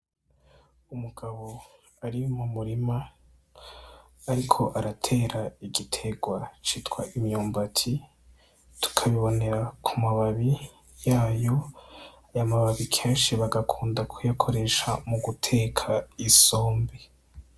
Umugabo ari mu murima ariko aratera igiterwa citwa imyumbati, tukabibonera ku mababi yayo, ayo mababi kenshi bagakunda kuyakoresha mu guteka isombe.